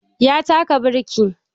Ya taka birkin